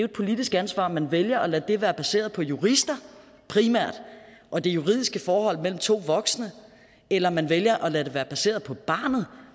et politisk ansvar om man vælger primært at lade det være baseret på jurister og det juridiske forhold mellem to voksne eller man vælger at lade det være baseret på barnet